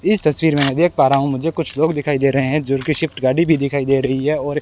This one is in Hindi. इस तस्वीर में मैं देख पा रा हूं मुझे कुछ लोग दिखाई दे रहे हैं जो कि स्विफ्ट गाड़ी भी दिखाई दे रही है और--